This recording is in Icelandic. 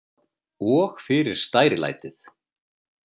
Og fyrir stærilætið.